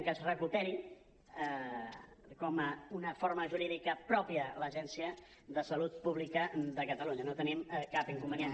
que es recuperi com a una forma jurídica pròpia l’agència de salut pública de catalunya no hi tenim cap inconvenient